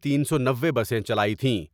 تین سو نوے بسیں چلائی تھیں۔